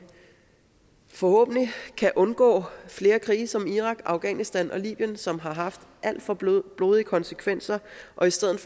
forhåbentlig kan undgå flere krige som i irak afghanistan og libyen som har alt for blodige blodige konsekvenser og i stedet